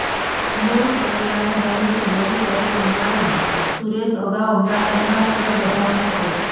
મૂળ કેરલાના રહીશ વડસરી કુમારન સુરેશ અગાઉ અમદાવાદમાં ફરજ બજાવતો હતો